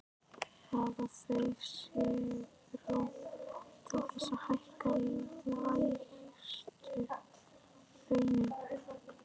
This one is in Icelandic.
Hafa þau svigrúm til þess að hækka lægstu launin?